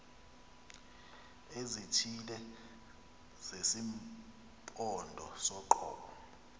ezithile zesimpondo soqobo